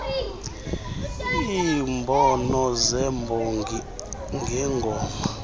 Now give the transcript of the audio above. iimhono zemhongi ngengoma